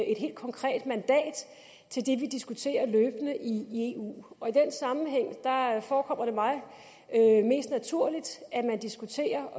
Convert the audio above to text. et helt konkret mandat til det vi diskuterer løbende i eu og i den sammenhæng forekommer det mig mest naturligt at man diskuterer